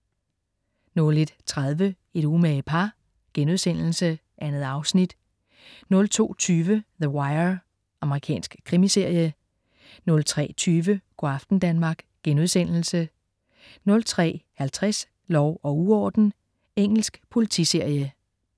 01.30 Et umage par.* 2 afsnit 02.20 The Wire. Amerikansk krimiserie 03.20 Go' aften Danmark* 03.50 Lov og uorden. Engelsk politiserie